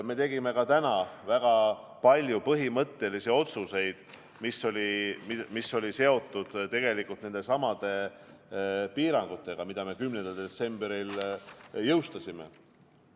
Me tegime täna väga palju põhimõttelisi otsuseid, mis olid seotud tegelikult nendesamade piirangutega, mille me 10. detsembril jõustasime.